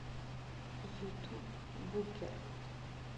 ютуб букер